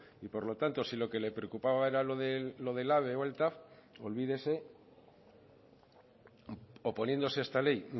y por lo tanto si lo que le preocupaba era lo del ave o tav pues olvídese oponiéndose a esta ley